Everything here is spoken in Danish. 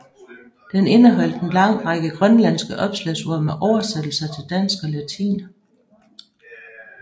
Den indeholdt en lang række grønlandske opslagsord med oversættelser til dansk og latin